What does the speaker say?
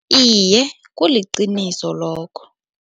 Iye, kuliqiniso lokho.